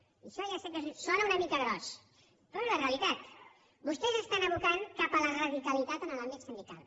i això ja sé que sona una mica gros però és la realitat vostès estan abocant cap a la radicalitat en l’àmbit sindical